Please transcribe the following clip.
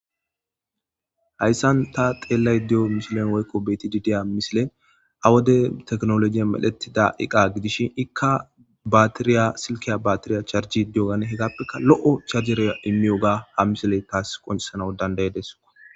Hayssan ta xelaydda deyyo missile woykko bethidi diyyo missile ha wode theknolojey medhetida iqqa gidishin ikka batiryya silkaya batirya hegapekka loo' charjeriya immiyoga ha missile tas qoncissede dandaides.